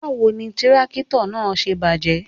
Báwo ni tírákítọ̀ náà ṣe bàjẹ́?